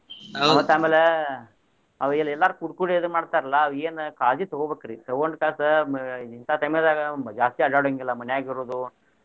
ಮತ್ತ್ ಅಮ್ಯಾಲ ಅವ್ ಎಲ್ಲಾರು ಕೂಡ್ ಕೂಡೆ ಇದನ್ ಮಾಡ್ತಾರ್ಲಾ ಏನ್ ಕಾಳಜಿ ತಗೋಬೇಕ್ರಿ ತಗೊಂಡ ತಾಸ ಇಂತಾ time ಲ್ಲಿ ಜಾಸ್ತಿ ಅಡ್ಯಾಡೊಹಂಗಿಲ್ಲ ಮನ್ಯಾಗ ಇರೋದು.